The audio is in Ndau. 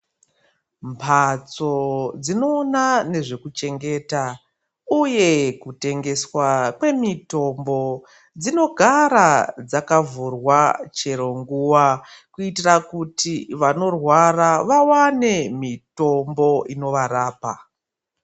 Mhatso dzinona nezvekuchengeta, uye nekutengeswa kwemutombo dzinogara dzakavhurwa cheronguva. Kuitira kuti vanorwara vavane mitombo inovarapa.